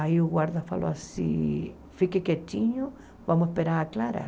Aí o guarda falou assim, fique quietinho, vamos esperar aclarar.